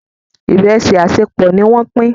Iresi asepọ ní wón Pin.